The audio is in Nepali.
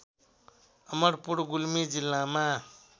अमरपुर गुल्मी जिल्लामा